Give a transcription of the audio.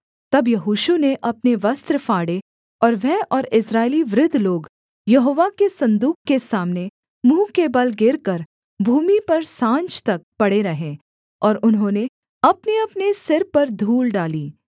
तब यहोशू ने अपने वस्त्र फाड़े और वह और इस्राएली वृद्ध लोग यहोवा के सन्दूक के सामने मुँह के बल गिरकर भूमि पर साँझ तक पड़े रहे और उन्होंने अपनेअपने सिर पर धूल डाली